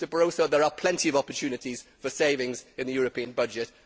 Mr Barroso, there are plenty of opportunities for savings in the European budget.